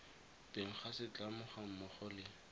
teng ga setlamo gammogo le